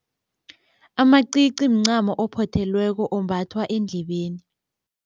Amacici mncamo ophothelweko ombathwa endlebeni.